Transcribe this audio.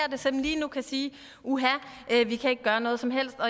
som lige nu kan sige uha vi kan ikke gøre noget som helst og